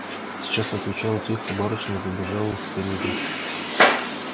сейчас отвечала тихо барышня и побежала в переднюю